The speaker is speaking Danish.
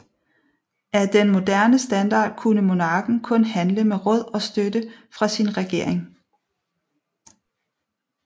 Af den moderne standard kunne monarken kun handle med råd og støtte fra sin regering